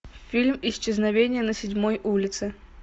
фильм исчезновение на седьмой улице